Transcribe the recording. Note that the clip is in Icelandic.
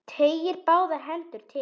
Teygir báðar hendur til hans.